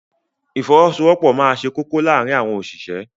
Ìfọwọ́sowọ́pọ̀ máa ṣe kókó láàárín àwọn òṣìṣẹ́.